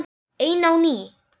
Ein á ný.